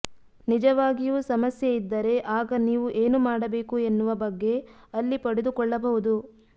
ನಿಜವಾಗಿಯೂ ಸಮಸ್ಯೆೆ ಇದ್ದರೆ ಆಗ ನೀವು ಏನು ಮಾಡಬೇಕು ಎನ್ನುವ ಬಗ್ಗೆೆ ಅಲ್ಲಿ ಪಡೆದುಕೊಳ್ಳಬಹುದು